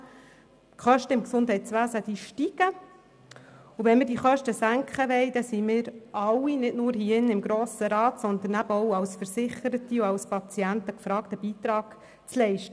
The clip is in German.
Die Kosten im Gesundheitswesen steigen, und wenn wir die Kosten senken wollen, sind wir alle – nicht nur wir hier im Grossen Rat –, eben auch alle als Versicherte und als Patienten aufgefordert, einen Beitrag zu leisten.